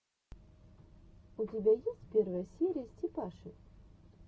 у тебя есть первая серия степаши